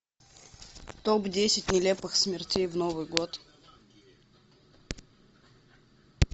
топ десять нелепых смертей в новый год